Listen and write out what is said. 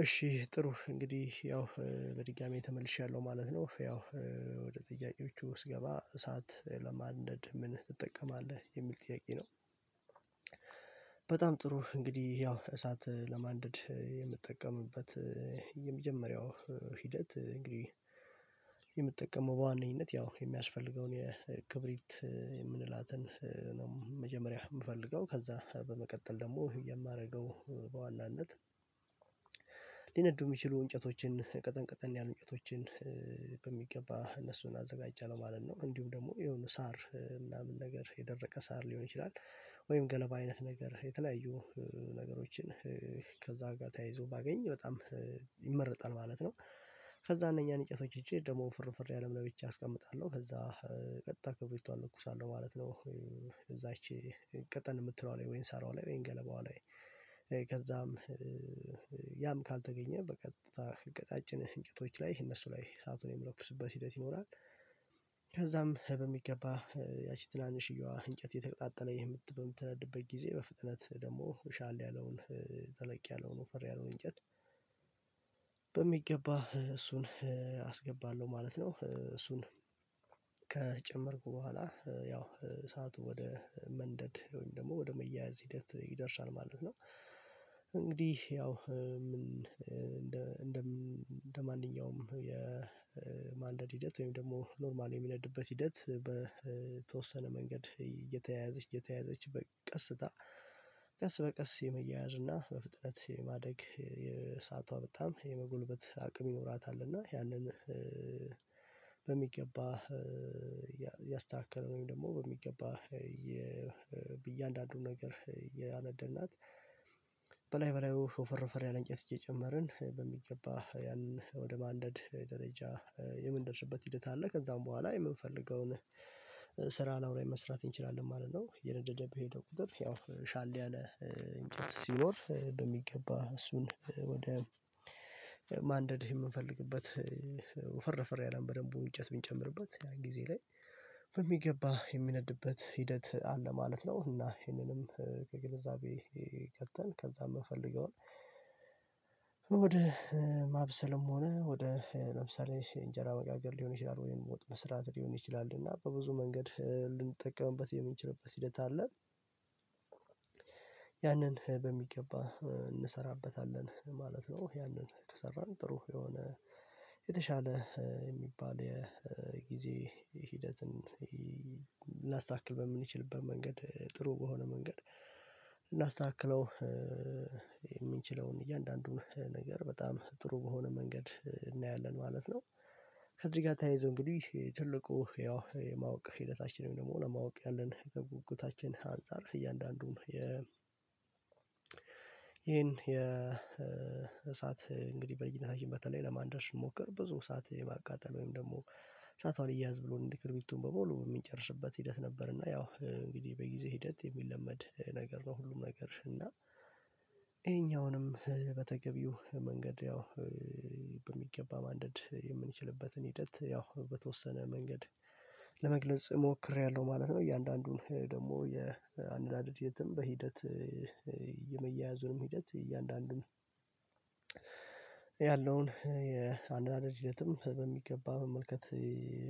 እሺ ጥሩ እንግዲህ ያው በድጋሚ ተመልሻለሁ ማለት ነው ያው ወደ ጥያቄዎቹ ውስጥ ገባ እሳት ለማንደድ ምን ትጠቀማለህ የሚል ጥያቄ ነው በጣም ጥሩ እንግዲህ ያው እሳት ለማንደድ የምጠቀምበት የመጀመሪያው ሂደት እንግዲህ የምትጠቀመው በዋነኝነት ያው የሚያስፈልገውን የክብሪት የምንላትን ነው መጀመሪያ የምፈልገው ከዛ በመቀጠል ደግሞ የማደርገው በዋናነት ሊነዱ የሚችሉ እንጨቶችን ቀጠን ቀጠን ያሉ እንጨቶችን በሚገባ እነሱን አዘጋጃለሁ ማለት ነው እንዲሁም ደግሞ የሆነ ሳር ምናምን ነገር የደረቀ ሳር ሊሆን ይችላል ወይም ገለባ አይነት ነገር የተለያዩ ነገሮችን ከዛ ጋር ተያይዞ ባገኝ በጣም ይመረጣል ማለት ነው። ከዛ እነኛን እንጨቶች ይዠ ደግሞ ወፈር ወፈር ያለውን ለብቻ አስቀምጣለሁ ከዛ ቀጥታ ክብሪቷ እለኩሳለሁ ማለት ነው እዛች ቀጠን የምትለው ላይ ወይን ሳሯ ላይ ወይንም ገለባዋ ላይ ከዛም ካልተገኘ በቀጥታ ቀጫጭን እንጨቶች ላይ እነሱ ላይ እሳቱን የምለኩስበት ሂደት ይኖራል ከዛም በሚገባ ያቺ ትናንሽየዋ እንጨት የተቀጣጠለ ይህ ምት በምትነድበት ጊዜ በፍጥነት ደግሞ ሻል ያለውን ጠለቅ ያለውን ወፈር ያለውን እንጨት በሚገባ እሱን አስገባለሁ ማለት ነው እሱን ከጨመርኩ በኋላ ያው እሳቱ ወደ መንደድ ደግሞ ወደ መያያዝ ሂደት ይደርሳል ማለት ነው እንግዲህ ያው እንደ እንደማንኛውም የማንደድ ሂደት ወይም ደግሞ ኖርማሊ የሚነድበት ሂደት በተወሰነ መንገድ እየተያዘች እየተያዘች በቀስታ ቀስ በቀስ የመያያዝ እና በፍጥነት የማደግ የሰአቷ በጣም የመጎልበት አቅም ይኖራታል እና ያለን በሚገባ እያስተካከልነው ወይም ደግሞ በሚገባ በእያንዳንዱ ነገር እያነደድናት በላይ በላዩ ወፈር ወፈር እንጨት እየጨመርን በሚገባ ያንን ወደ ማንደድ ደረጃ የምንደርስበት ሂደት አለ ከዛም በኋላ የምንፈልገውን ስራ ላዩ ላይ መስራት እንችላለን ማለት ነው እየነደደ በሄደው ቁጥር ያው ሻል ያለ እንጨት ሲኖር በሚገባ እሱን ወደ ማንደድ የምንፈልግበት ወፈር ወፈር ያለ በደንብ እንጨት ብንጨምርበት ያን ጊዜ ላይ በሚገባ የሚነድበት ሂደት አለ ማለት ነው እና ይሄንንም ከግንዛቤ ከተን ከዛ የምፈልገውን ወደ ማብሰልም ሆነ ወደ ለምሳሌ እንጀራ መጋገር ሊሆን ይችላል ወይም ወጥ መስራት ሊሆን ይችላል እና በብዙ መንገድ ልንጠቀምበት የምንችልበት ሂደት አለ ያንን በሚገባ እንሰራበታለን ማለት ነው ያንን ከሰራን ጥሩ የሆነ የተሻለ የሚባል የጊዜ ሂደትን ላስተካክል በምንችልበት መንገድ ጥሩ በሆነ መንገድ እናስተካክለው የምንችለውን እያንዳንዱን ነገር በጣም ጥሩ በሆነ መንገድ እናያለን ማለት ነው፤ ከዚህ ጋር ተያይዞ እንግዲህ ትልቁ ያው የማወቅ ሂደታችን ደግሞ ለማወቅ ያለን ጉጉታችን አንፃር እያንዳንዱን ይሄን የእሳት እንግዲህ በልጅና በተለይ ለማንደድ ስንሞክር ብዙ ሰዓት የማቃጠል ወይም ደግሞ እሳቷን አልያያዝ ብሎ እንደ ክርቢቱን በሙሉ የሚጨርስበት ሂደት ነበር እና ያው በጊዜ ሂደት የሚለመድ ነገር ነው ሁሉም ነገር እና ይሄኛውንም በተገቢው መንገድ ያው በሚገባ ማንደድ የምንችልበትን ሂደት ያው በተወሰነ መንገድ ለመግለጽ ሞክሬያለሁ ማለት ነው እያንዳንዱን ደግሞ የአነዳደድ ሂደትም በሂደት የመያያዙንም ሂደት እያንዳንዱን ያለውን የአነዳደድ ሂደትም በሚገባ መመልከት